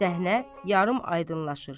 Səhnə yarımaydınlaşır.